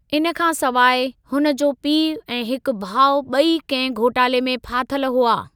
इन खां सिवाइ, हुन जो पीउ ऐं हिकु भाउ ॿई कहिं घोटाले में फाथल हुआ।